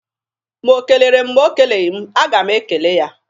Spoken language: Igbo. Ma o kelere m ma o keleghi m, a ga m ekele ya.